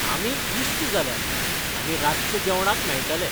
आमी इश्ट जाल्यात आनी रातच्या जेवणाक मेळटले.